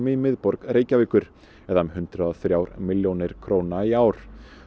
miðborg Reykjavíkur um hundrað og þrjár milljónir króna í ár